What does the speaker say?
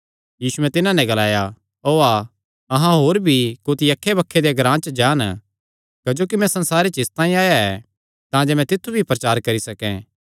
यीशुयैं तिन्हां नैं ग्लाया ओआ अहां होर कुत्थी अक्खैबक्खे देयां ग्रां च जान कि मैं तित्थु भी प्रचार करी सकैं क्जोकि मैं इसतांई आया ऐ